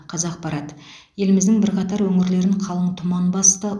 қазақпарат еліміздің бірқатар өңірлерін қалың тұман басты